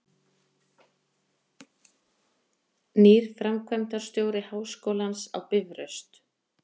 Nýr framkvæmdastjóri Háskólans á Bifröst